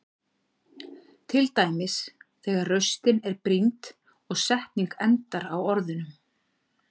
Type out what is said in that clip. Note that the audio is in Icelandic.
Til dæmis þegar raustin er brýnd og setning endar á orðunum.